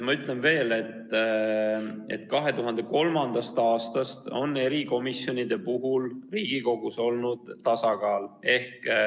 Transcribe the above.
Ma ütlen veel, et 2003. aastast on erikomisjonide koosseisudes Riigikogus olnud tasakaal.